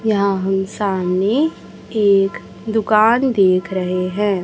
यहां हम सामने एक दुकान देख रहे हैं।